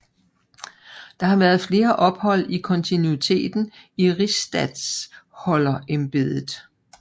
Der har været flere ophold i kontinuiteten i rigsstatholderembedet